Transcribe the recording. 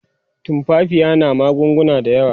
tumfafiya na magunguna da yawa